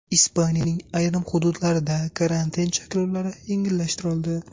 Ispaniyaning ayrim hududlarida karantin cheklovlari yengillashtirildi.